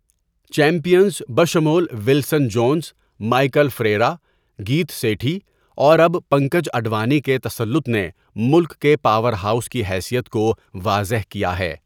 Champions بشمول Wilson Jones, Michael Ferreira, Geet Sethi اور اب پنکج اڈوانی کے تسلط نے ملک کے پاور ہاؤس کی حیثیت کو واضح کیا ہے۔